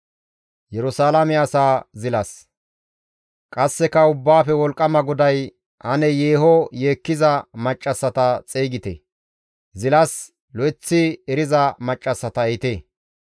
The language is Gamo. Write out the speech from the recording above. Qasseka Ubbaafe Wolqqama GODAY, «Ane yeeho yeekkiza maccassata xeygite; zilas lo7eththi eriza maccassata ehite.